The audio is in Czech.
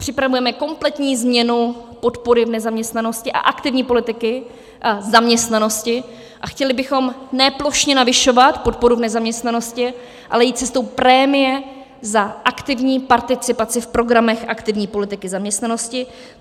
Připravujeme kompletní změnu podpory v nezaměstnanosti a aktivní politiky zaměstnanosti a chtěli bychom ne plošně navyšovat podporu v nezaměstnanosti, ale jít cestou prémie za aktivní participaci v programech aktivní politiky zaměstnanosti.